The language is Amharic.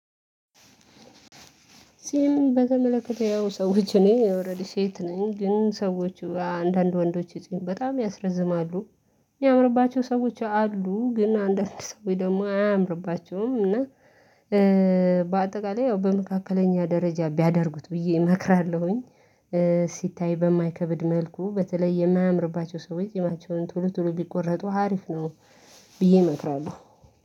ጺም በተመለከተ ያው ሰዎች እኔ ኦሬዲ ሴት ነኝ ግን ሰዎች አንዳንድ ወንዶች ጺም በጣም ያስረዝማሉ። ያምርባቸው ሰዎች አሉ ግን አንዳንድ ሰዎች ደግሞ አያምርባቸውም እና። በአጠቃላይ ያው በመካከለኛ ደረጃ ቢያደርጉት ብዬ እመክራለሁኝ። ሲታይ በማይከብድ መልኩ በተለይ የማያምርባቸው ሰዎች ጺማቸውን ቶሎ ቶሎ ቢቆረጡ ሀሪፍ ነው። ብዬ እመክራለሁ።